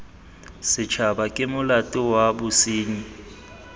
setshaba ke molato wa bosenyi